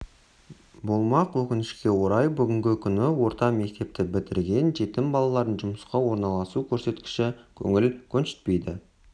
болмақ өкінішке орай бүгінгі күні орта мектепті бітірген жетім балалардың жұмысқа орналасу көрсеткіші көңіл көншітпейді